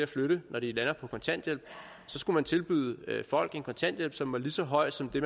flytte når de landede på kontanthjælp skulle vi tilbyde folk en kontanthjælp som var lige så høj som det